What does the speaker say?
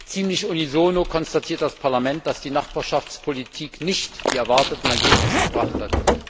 Ziemlich unisono konstatiert das Parlament, dass die Nachbarschaftspolitik nicht die erwarteten Ergebnisse gebracht hat.